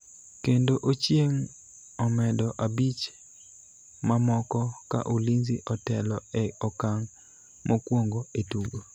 kendo Ochieng omedo abich mamoko ka Ulinzi otelo e okang' mokwongo e tugo